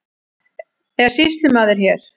Er sýslumaður hér?